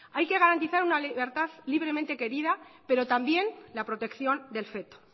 hay que garantizar una libertad libremente querida pero también la protección del feto